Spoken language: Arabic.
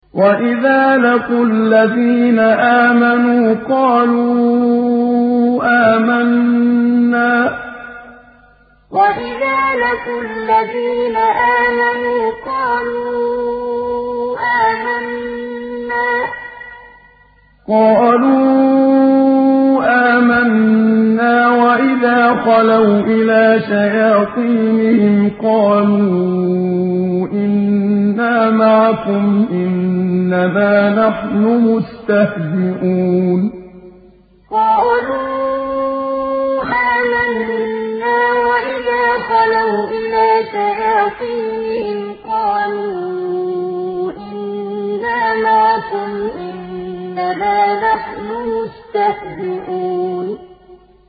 وَإِذَا لَقُوا الَّذِينَ آمَنُوا قَالُوا آمَنَّا وَإِذَا خَلَوْا إِلَىٰ شَيَاطِينِهِمْ قَالُوا إِنَّا مَعَكُمْ إِنَّمَا نَحْنُ مُسْتَهْزِئُونَ وَإِذَا لَقُوا الَّذِينَ آمَنُوا قَالُوا آمَنَّا وَإِذَا خَلَوْا إِلَىٰ شَيَاطِينِهِمْ قَالُوا إِنَّا مَعَكُمْ إِنَّمَا نَحْنُ مُسْتَهْزِئُونَ